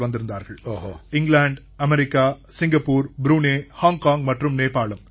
வந்திருந்தார்கள் England America Singapore Brunei Hong Kong மற்றும் நேபாளம்